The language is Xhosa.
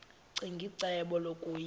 ccinge icebo lokuyilwa